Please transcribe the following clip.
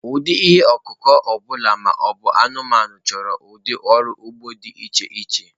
Ụdị ihe ọkụkụ ọbụla ma ọ bụ anụmanụ chọrọ ụdị ọrụ ugbo dị iche iche.